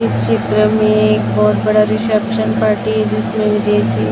इस चित्र में बहोत बड़ा रिसेप्शन पार्टी ।